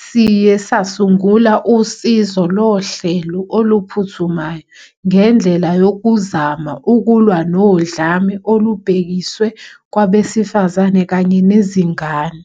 siye sasungula usizo lohlelo oluphuthumayo ngendlela yokuzama ukulwa nodlame olubhekiswe kwabesifazane kanye nezingane.